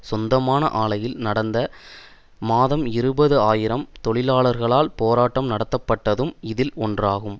சொந்தமான ஆலையில் கடந்த மாதம் இருபது ஆயிரம் தொழிலாளர்களால் போராட்டம் நடத்தப்பட்டதும் இதில் ஒன்றாகும்